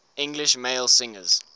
english male singers